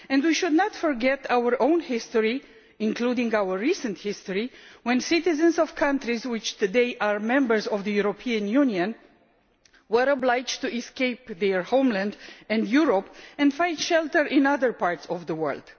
We should not forget our own history including our recent history when citizens of countries which today are members of the European Union were obliged to escape their homeland and Europe and find shelter in other parts of the world.